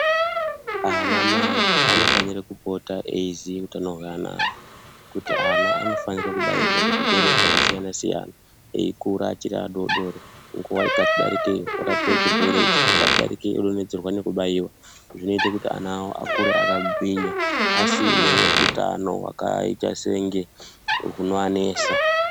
Anamai anofanira kupota eiziye utano hweana awo kuti ana anofanira kubairwa kuzvirwere zvakasiyana siyana eikura achiri adoodori nguwa ikati darikei orapa chirwere ichi ikati darikei odontedzerwa nekubairwa zvinoita kuti ana awo akure akagwinya asine utano hwakaita senge hunoanesa.